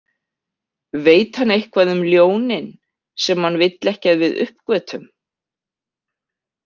Veit hann eitthvað um ljónin sem hann vill ekki að við uppgötvum?